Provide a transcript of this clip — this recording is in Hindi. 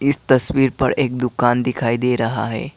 इस तस्वीर पर एक दुकान दिखाई दे रहा है।